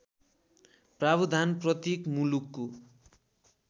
प्रावधान प्रत्येक मुलुकको